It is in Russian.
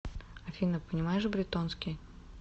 афина понимаешь бретонский